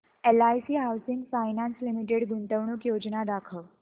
LIC housing finance limited गुंतवणूक योजना दाखव